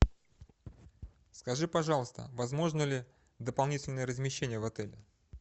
скажи пожалуйста возможно ли дополнительное размещение в отеле